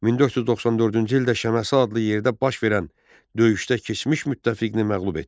1494-cü ildə Şəməsi adlı yerdə baş verən döyüşdə keçmiş müttəfiqini məğlub etdi.